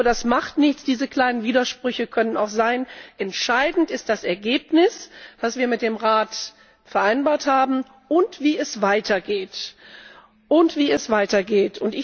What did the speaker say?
Aber das macht nichts. Diese kleinen Widersprüche können auch sein. Entscheidend ist das Ergebnis, das wir mit dem Rat vereinbart haben, und wie es weitergeht.